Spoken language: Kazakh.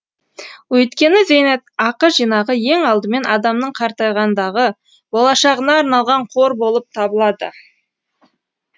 өйткені зейнетақы жинағы ең алдымен адамның қартайғандағы болашағына арналған қор болып табылады